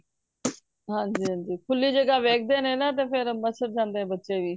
ਹਨਜੀ ਹੰਝੀਂ ਖੁੱਲੀ ਜਗਹ ਵੇ ਖਦੇ ਏ ਨਾ ਫ ਮੱਛਰ ਜਾਂਦੇ ਨੇ ਬੱਚੇ ਵੀ